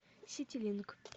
ситилинк